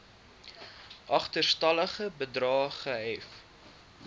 agterstallige bedrae gehef